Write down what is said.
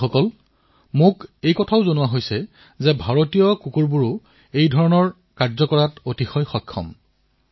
বন্ধুসকল মোক কোৱা হৈছে যে ভাৰতীয় ব্ৰীডৰ কুকুৰো ভাল হয় অতিশয় সক্ষম হয়